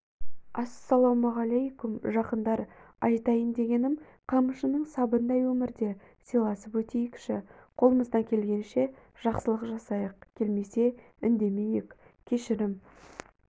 ассалаумағалейкум жақындар айтайын дегенім қамшының сабындай өмірде сыйласып өтейікші қолымыздан келгенше жақсылық жасайық келмесе үндемейік кешірім